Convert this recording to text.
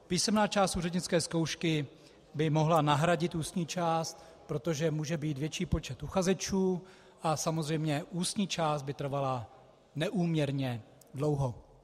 Písemná část úřednické zkoušky by mohla nahradit ústní část, protože může být větší počet uchazečů a samozřejmě ústní část by trvala neúměrně dlouho.